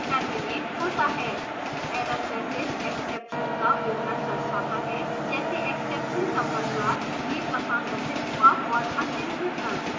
error message exception का विवरण दर्शाता है जैसे exception का प्रकार यह कहाँ घटित हुआ और अन्य विवरण